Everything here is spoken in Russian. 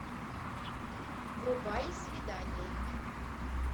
врубай свидание